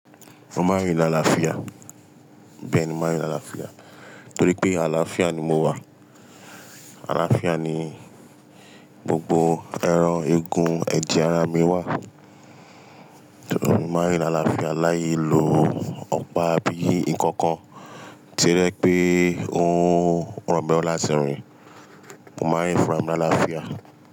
Mo máa ń rìn làlàáfíà. Bẹ́ẹ̀ ni mo máa ń rìn làlàáfíà, torí pé àlàáfíà ni mo wà. Àlàáfíà ni gbogbo ẹran, egun, ẹ̀jẹ̀ ara mi wà. Torí náà mo máa ń rìn lálàáfíà láì lo ọ̀pá abí nǹkan kan tí o jẹ́ pé ó ń rọ̀ mí lorun láti rìn. Mo máa ń rìn fúnra làlàáfíà.